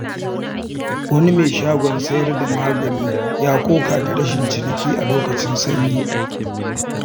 Wani mai shagon sayar da magani ya koka da rashin ciniki a lokacin sanyi.